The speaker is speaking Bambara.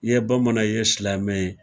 I ye bamanan ye, i ye silamɛ ye.